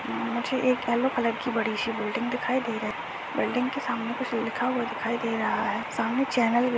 मुझे एक yellow colour की बड़ीसी बिल्डिंग दिखाई दे रही बिल्डिंग की सामने कुछ लिखा हुआ दे रहा है सामने चैनल --